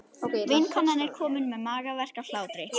Vinkonan er komin með magaverk af hlátri.